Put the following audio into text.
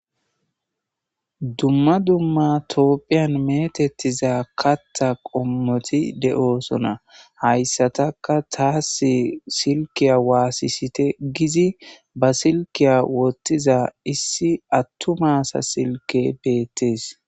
Dumma dumma toopphiyan metettiza katta qommoti de'oosona hayssatakka taas silkiya waassisite gizi ba silkiya wottiza issi attumaasa silke beettees.